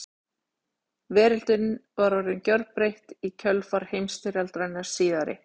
Veröldin var orðin gjörbreytt í kjölfar heimsstyrjaldarinnar síðari.